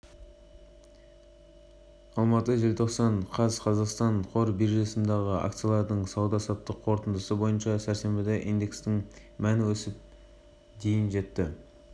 алматы желтоқсан қаз қазақстан қор биржасындағы акциялардың сауда-саттық қорытындысы бойынша сәрсенбіде индексінің мәні өсіп дейін жетті